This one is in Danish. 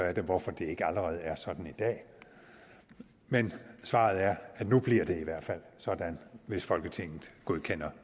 er det hvorfor det ikke allerede er sådan i dag men svaret er at nu bliver det i hvert fald sådan hvis folketinget godkender